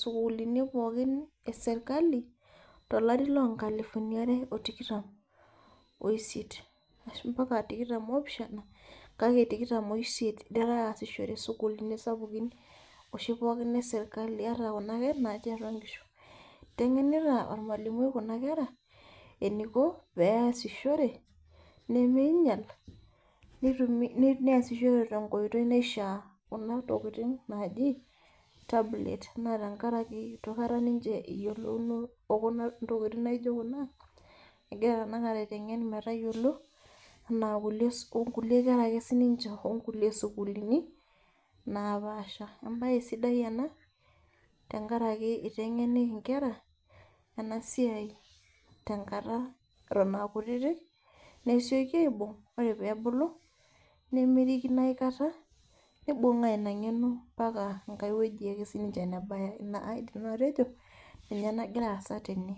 sukuulini pookin eserkali, tolari lonkalifuni are otikitam oisiet, ashu mpaka tikitam opishana, kake tikitam oisiet itera aasishore sukuulini sapukin oshi pookin eserkali ata kuna ake, natii atua nkishu. Iteng'enita ormalimui kuna kera, eniko peasishore, niminyal neasishore tenkoitoi naishaa kuna tokiting naji tablet, na tenkaraki itu akata ninche eyiolouno okuna tokiting naijo kuna, egira tanakata aiteng'en metayiolo, enaa nkulie kera ake sininche onkulie sukuulini, napaasha. Ebae sidai ena, tenkaraki iteng'eni inkera, enasiai tenkata eton akutitik, nesioki aibung' ore pebulu, nemirikino aikata, nibung'aa ina ng'eno mpaka enkae wueji ake sininche nebaya. Ina aidim nanu atejo, ninye nagira aasa tene.